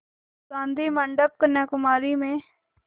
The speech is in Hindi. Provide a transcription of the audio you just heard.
गाधी मंडपम् कन्याकुमारी में